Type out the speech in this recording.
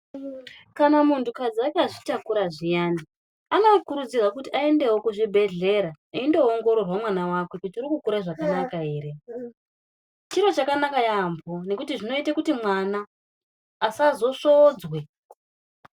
Kana munhukadzi akazvitakura payani anokurudzirwa kuti aendewo kuzvibhedhlera eindoongororwa mwana wake kuti uri kukura zvakanaka ere. Chiro chakanaka yaamho nekuti zvinoite kuti mwana asazosvodzwe.